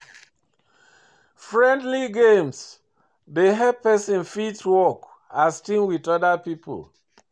Friendly games dey help person fit work as team with oda pipo